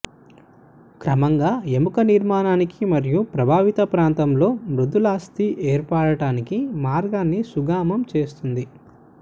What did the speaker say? క్రమంగా ఎముక నిర్మాణానికి మరియు ప్రభావిత ప్రాంతంలో మృదులాస్థి ఏర్పడటానికి మార్గాన్ని సుగమం చేస్తుంది